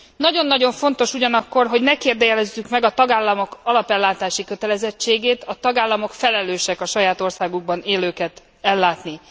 Nagyon nagyon fontos ugyanakkor, hogy ne kérdőjelezzük meg a tagállamok alapellátási kötelezettségét. A tagállamok felelősek a saját országukban élőket ellátni.